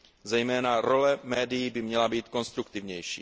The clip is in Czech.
Zejména role médií by měla být konstruktivnější.